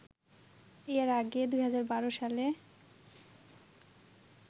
এর আগে ২০১২ সালে